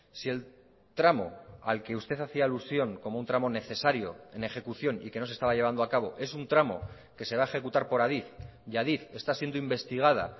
si el tramo al que usted hacía alusión como un tramo necesario en ejecución y que no se estaba llevando a cabo es un tramo que se va a ejecutar por adif y adif está siendo investigada